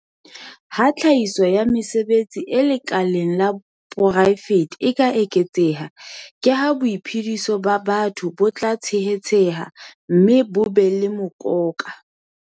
Ha tlhahiso ya mesebetsi e lekaleng la poraefete e eketseha, ke ha boiphediso ba batho bo tla tshehetseha mme bo be le mokoka.